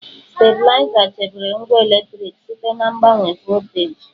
Stabịlaịza chebere ngwa eletriki site na mgbanwe volteji.